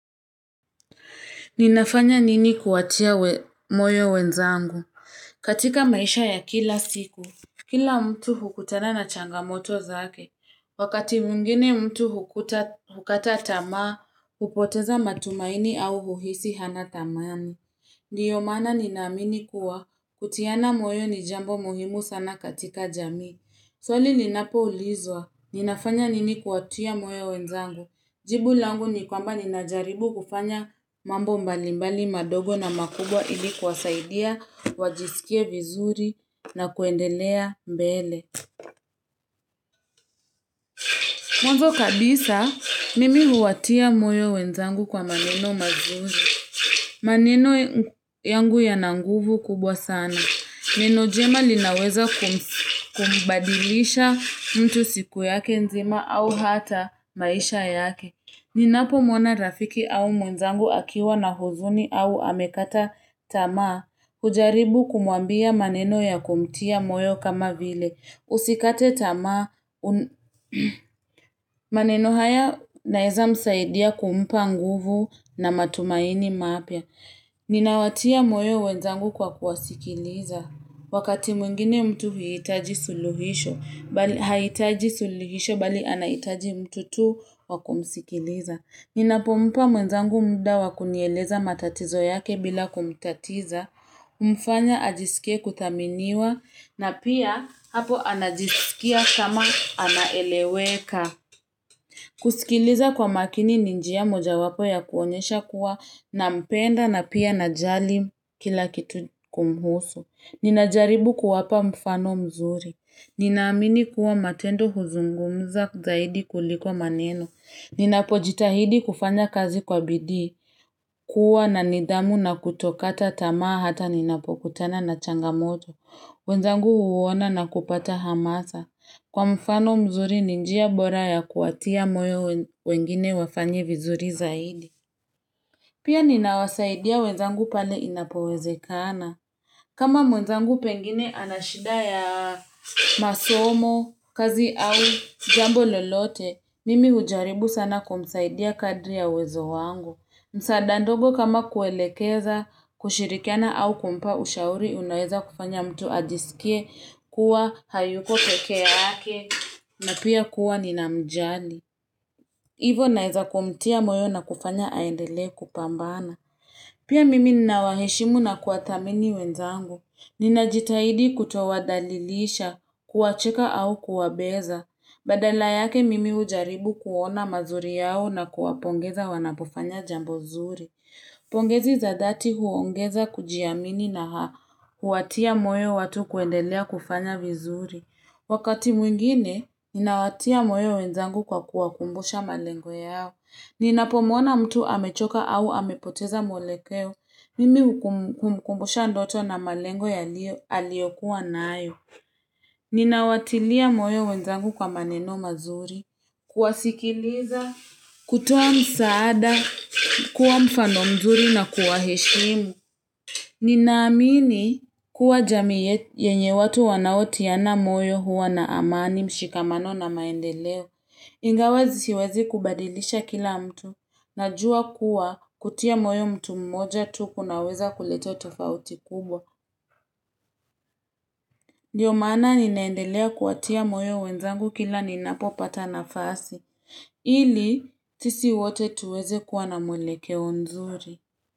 Ninafanya nini kuwatia moyo wenzangu? Katika maisha ya kila siku. Kila mtu hukutana na changamoto zake. Wakati mwingine mtu hukata tamaa, hupoteza matumaini au huhisi hana thamani. Ndio mana ninaamini kuwa, kutiana moyo ni jambo muhimu sana katika jamii. Swali ninapo ulizwa, ninafanya nini kuwatia moyo wenzangu. Jibu langu ni kwamba ninajaribu kufanya mambo mbalimbali madogo na makubwa ili kwasaidia, wajisikie vizuri na kuendelea mbele. Mwanzo kabisa, mimi huwatia moyo wenzangu kwa maneno mazuri. Maneno yangu yana nguvu kubwa sana. Neno njema linaweza kumbadilisha mtu siku yake nzima au hata maisha yake. Ninapo mwona rafiki au mwenzangu akiwa na huzuni au amekata tamaa, hujaribu kumwambia maneno ya kumtia moyo kama vile. Usikate tamaa, maneno haya inaeza msaidia kumpa nguvu na matumaini mapya. Ninawatia moyo wenzangu kwa kuwasikiliza. Wakati mwingine mtu huiitaji suluhisho bali hahitaji suluhisho bali anahitaji mtu tu wakumsikiliza. Ninapompa mwenzangu muda wakunieleza matatizo yake bila kumtatiza. Humfanya ajisikie kuthaminiwa na pia hapo anajisikia kama anaeleweka. Kusikiliza kwa makini ni njia moja wapo ya kuonyesha kuwa na mpenda na pia najali kila kitu kumhusu. Ninajaribu kuwapa mfano mzuri. Ninaamini kuwa matendo huzungumza zaidi kuliko maneno. Ninapojitahidi kufanya kazi kwa bidii. Kuwa na nidhamu na kutokata tamaa hata ninapokutana na changamoto. Wenzangu huwona na kupata hamasa. Kwa mfano mzuri ni njia bora ya kuwatia moyo wengine wafanye vizuri zaidi. Pia ninawasaidia wenzangu pale inapoweze kana. Kama mwenzangu pengine anashida ya masomo, kazi au jambo lolote, mimi hujaribu sana kumsaidia kadri ya wezo wangu. Msaada ndogo kama kuelekeza, kushirikiana au kumpa ushauri unaweza kufanya mtu ajisikie kuwa hayuko pekeea yake na pia kuwa ni namjali. Hivo naweza kumtia moyo na kufanya aendele kupambana. Pia mimi ninawaheshimu na kuwathamini wenzangu, ninajitahidi kutowadhalilisha, kuwacheka au kuwabeza, badala yake mimi hujaribu kuona mazuri yao na kuwapongeza wanapofanya jambo nzuri. Pongezi zadati huongeza kujiamini na haa, huwatia moyo watu kuendelea kufanya vizuri. Wakati mwingine, ninawatia moyo wenzangu kwa kuwa kumbusha malengo yao. Ninapomwona mtu amechoka au amepoteza mwelekeo, mimi humkumbusha ndoto na malengo aliyo kuwa nayo. Ninawatilia moyo wenzangu kwa maneno mazuri, kuwasikiliza, kuta msaada, kuwa mfano mzuri na kuwa heshimu. Ninaamini kuwa jamii yenye watu wanaotiana moyo huwa na amani mshikamano na maendeleo. Ingawa siwezi kubadilisha kila mtu. Najua kuwa kutia moyo mtu mmoja tu kunaweza kuleta tofauti kubwa. Ndiyo mana ninaendelea kuwatia moyo wenzangu kila ninapo pata nafasi. Ili sisi wote tuweze kuwa na mwelekeo nzuri.